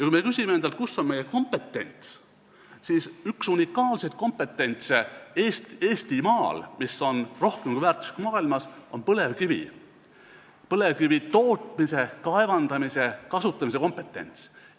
Kui me küsime endalt, kus on meie kompetents, siis üks unikaalseid kompetentse Eestimaal, mis on maailmas rohkem kui väärtuslik, on põlevkivialane: põlevkivi kaevandamise ja kasutamise kompetents.